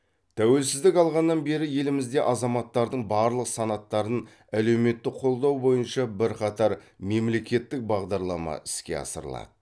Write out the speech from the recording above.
тәуелсіздік алғаннан бері елімізде азаматтардың барлық санаттарын әлеуметтік қолдау бойынша бірқатар мемлекеттік бағдарлама іске асырылады